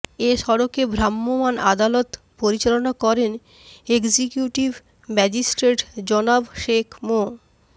এ সড়কে ভ্রাম্যমাণ আদালত পরিচালনা করেন এক্সিকিউটিভ ম্যাজিস্ট্রেট জনাব শেখ মো